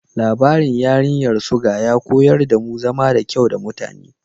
Labarin Yarinyar Suga ya koyar damu zama da kyau da mutane.